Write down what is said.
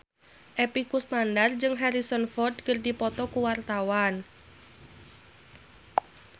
Epy Kusnandar jeung Harrison Ford keur dipoto ku wartawan